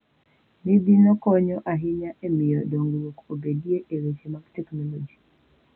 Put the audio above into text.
Midhino konyo ahinya e miyo dongruok obedie e weche mag teknoloji.